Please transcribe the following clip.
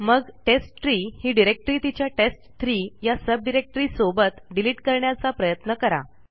मग टेस्टट्री ही डिरेक्टरी तिच्या टेस्ट3 या सबडिरेक्टरीसोबत डिलीट करण्याचा प्रयत्न करा